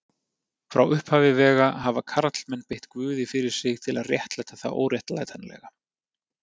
Frá upphafi vega hafa karlmenn beitt guði fyrir sig til að réttlæta það óréttlætanlega.